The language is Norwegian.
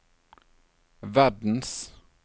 verdens